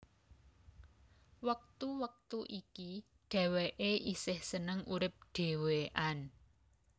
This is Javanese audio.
Wektu wektu iki dheweké esih seneng urip dhewekan